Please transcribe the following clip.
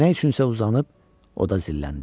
Nə üçünsə uzanıb oda zilləndi.